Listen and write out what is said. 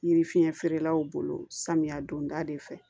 Yiri fiɲɛ feerelaw bolo samiya don da de fɛ